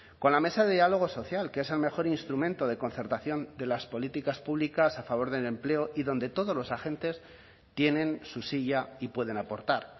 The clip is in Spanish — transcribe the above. con la mesa de diálogo social que es el mejor instrumento de concertación de las políticas públicas a favor del empleo y donde todos los agentes tienen su silla y pueden aportar